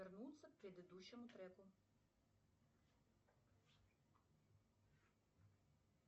вернуться к предыдущему треку